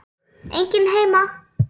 Enginn heima.